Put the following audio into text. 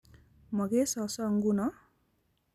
Mo kei soso nguno?